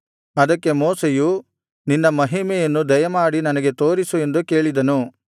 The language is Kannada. ಅದಕ್ಕೆ ಮೋಶೆಯು ನಿನ್ನ ಮಹಿಮೆಯನ್ನು ದಯಮಾಡಿ ನನಗೆ ತೋರಿಸು ಎಂದು ಕೇಳಿದನು